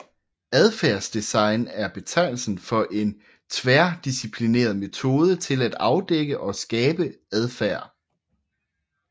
Adfærdsdesign er betegnelsen for en tværdisciplinær metode til at afdække og skabe adfærd